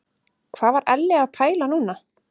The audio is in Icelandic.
Hvað var Elli að pæla núna?